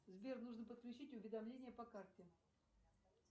сбер нужно подключить уведомление по карте